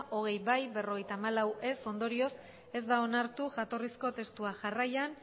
hogei ez berrogeita hamalau ondorioz ez da onartu jatorrizko testua jarraian